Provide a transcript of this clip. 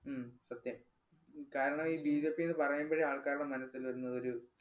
ഉം സത്യം. കാരണം ഈ ബിജെപി എന്ന് പറയുമ്പോഴേ ആൾക്കാരുടെ മനസ്സിൽ വരുന്നതൊരു